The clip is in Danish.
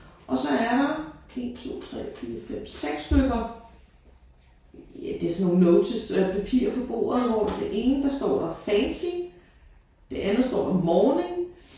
Og så er der 1 2 3 4 5 6 stykker ja det er sådan nogle notes papir på bordet hvor det ene der står der fancy. Det andet står der morning